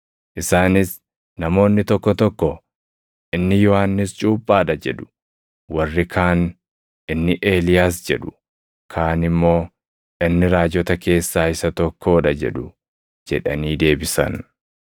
Isaanis, “Namoonni tokko tokko, ‘Inni Yohannis Cuuphaa dha’ jedhu; warri kaan, ‘inni Eeliyaas’ jedhu; kaan immoo, ‘inni raajota keessaa isa tokkoo dha’ jedhu” jedhanii deebisan.